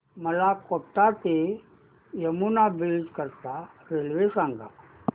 मला कोटा ते यमुना ब्रिज करीता रेल्वे सांगा